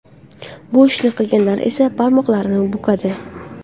Bu ishni qilganlar esa barmoqlarini bukadi.